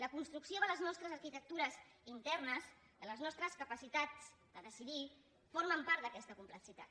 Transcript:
la construcció de les nostres arquitectures internes de les nostres capacitats de decidir forma part d’aquesta complexitat